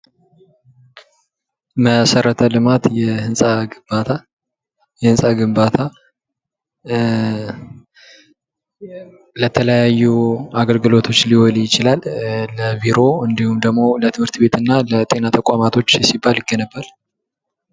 መሠረተ ልማት የሕንፃ ግንባታ የሕንፃ ግንባታ ለተለያዩ አገልግሎቶች ሊውል ይችላል ለቢሮ እንዲሁም ደግሞ ለትምህርት ቤትና ለጤና ተቋማቶች ሲባል ይገነባል።